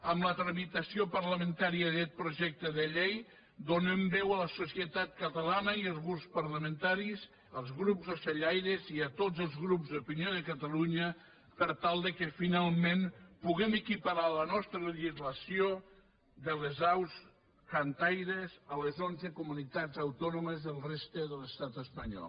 amb la tramitació parlamentària d’aquest projecte de llei donem veu a la societat catalana i als grups parlamentaris als grups d’ocellaires i a tots els grups d’opinió de catalunya per tal que finalment puguem equiparar la nostra legislació de les aus cantaires a les onze comunitats autònomes de la resta de l’estat espanyol